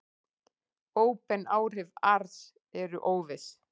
Óbein áhrif ars eru óviss.